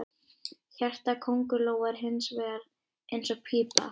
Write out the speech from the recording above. Hjarta köngulóa er hins vegar eins og pípa.